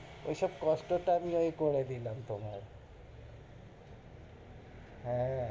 ওইসব কষ্ট টা আমি ওই করে দিলাম তোমার । হ্যাঁ,